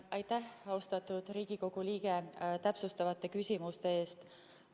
Aitäh, austatud Riigikogu liige, täpsustavate küsimuste eest!